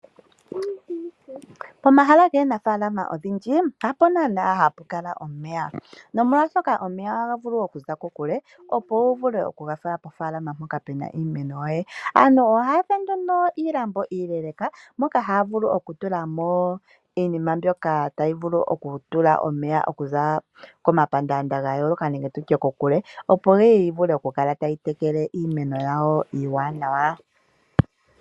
Pomahala gaanafaalama odhindji hapo naanaa hapu kala omeya. Nomolwaashoka omeya ohaga vulu okuza kokule opo wuvule okugafala pofaalama mpoka pena iimeno yoye. Aantu ohaya fulu nduno iilambo iileeleeka moka haya vulu okutulamo iinima mbyoka tayi vulu okutula omeya okuza komapandaanda gayoolaka nenge tutye kokule opo yiye yi vule oku kala tayi tekele iimeno yawo iiwanawa.